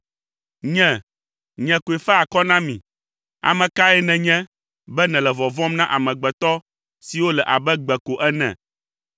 “Nye, nye koe faa akɔ na mi. Ame kae nènye be nèle vɔvɔ̃m na amegbetɔ siwo le abe gbe ko ene?